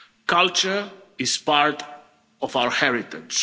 Culture is part of our heritage.